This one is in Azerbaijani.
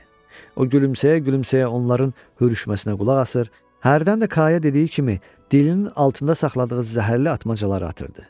O gülümsəyə-gülümsəyə onların hürüşməsinə qulaq asır, hərdən də Kaya dediyi kimi dilinin altında saxladığı zəhərli atmacaları atırdı.